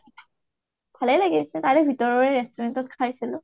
ভালে লাগিছিল । তাৰে ভিতৰৰ restaurant ত খাইছিলো।